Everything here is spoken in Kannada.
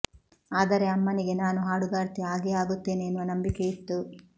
ಆದರೆ ಅಮ್ಮನಿಗೆ ನಾನು ಹಾಡುಗಾರ್ತಿ ಆಗೇ ಆಗುತ್ತೇನೆ ಎನ್ನುವ ನಂಬಿಕೆ ಇತ್ತು